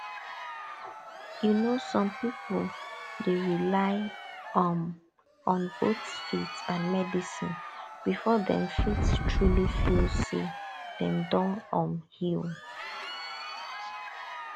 you know some people dey rely um on both faith and medicine before dem fit truly feel say dem don um heal